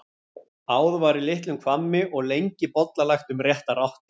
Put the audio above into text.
Áð var í litlum hvammi og lengi bollalagt um réttar áttir.